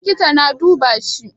Likita na duba shi.